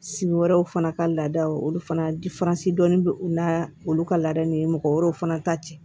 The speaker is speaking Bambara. Sigi wɛrɛw fana ka laadaw olu fana dɔnni bɛ u na olu ka laadaw ni mɔgɔ wɛrɛw fana ta cɛ